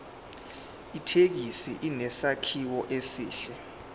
ithekisi inesakhiwo esihle